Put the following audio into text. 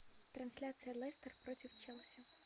трансляция лестер против челси